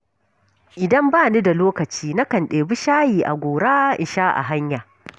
Idan bani da lokaci, na kan ɗebi shayi a gora in sha a hanya.